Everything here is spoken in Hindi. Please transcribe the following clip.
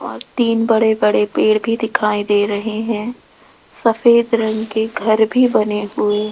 और तीन बड़े बड़े पेड़ भी दिखाई दे रहे हैं सफेद रंग के घर भी बने हुए --